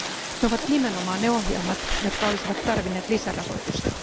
Ne ovat nimenomaan ne ohjelmat, jotka olisivat tarvinneet lisärahoitusta.